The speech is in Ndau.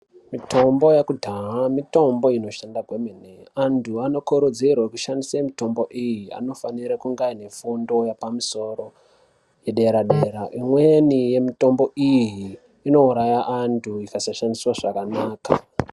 Mitombo yekudhaya, minotombo inoshanda kwemene. Antu anokurudzirwa kushandiswa mitombo iyi anofanirwa kunge aine fundo yepamusoro yedera-dera. Imweni yemitombo iyi inouraya antu ikasashandiswa zvakanaka.